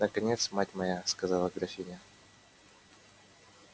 наконец мать моя сказала графиня